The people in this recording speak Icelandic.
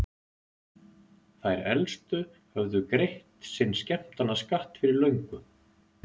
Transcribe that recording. Þær elstu höfðu greitt sinn skemmtanaskatt fyrir löngu.